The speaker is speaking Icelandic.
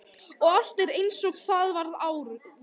Og allt er einsog það var áður.